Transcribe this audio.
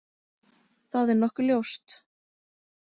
Það er nokkuð ljóst.